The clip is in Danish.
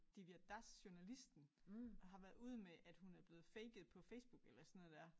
Divya Das journalisten har været ude med at hun er blevet faket på Facebook eller sådan noget der